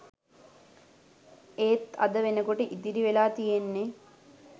එත් අද වෙනකොට ඉතිරි වෙලා තියෙන්නේ